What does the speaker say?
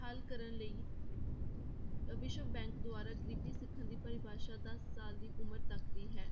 ਹੱਲ ਕਰਨ ਲਈ ਵਿਸ਼ਵ bank ਦੁਆਰਾ ਗ਼ਰੀਬੀ ਸਿਖਰ ਦੀ ਪਰਿਭਾਸ਼ਾ ਦਸ ਸਾਲ ਦੀ ਉਮਰ ਤੱਕ ਦੀ ਹੈ